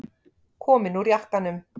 Komin úr jakkanum.